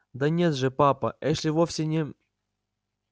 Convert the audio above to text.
да нет же папа эшли вовсе не